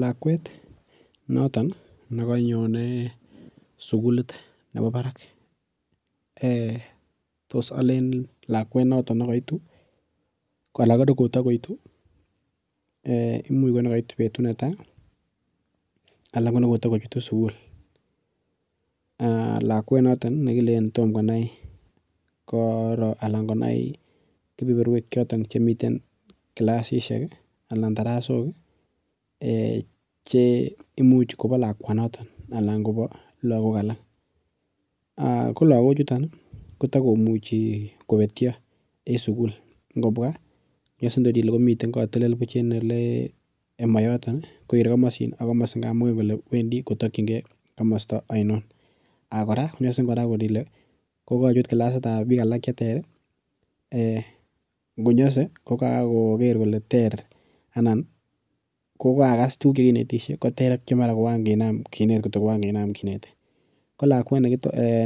Lakwet noton nekanyonei sukulit nebo barak tos alen lakwet noto nekaitu koanan nekatikoitu imuch nekaitu betut netai anan ko nekotikochutu sukul lakwet noto nekilin tom konai koro anan konai kepeperwek choton chemiten kilasishek anan darasok cheimuch kobo lakwanoto anan kobo lakok alak ko lakochuton kotakomuchi kobetyo en sukul ngobwa nyosen katel bunch en ole mayoton kerei komosin ak komosi amoingen kole wendi kotokchingei komosta ainon ak kora iner ile kokakochut kilasitab biik alak cheter konyosei ko kakoker kole ter anan kokakokas tuguk chekinetishei koter ak ngokankinam kinet ko lakwet